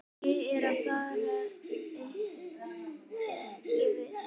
Ég er bara ekki viss.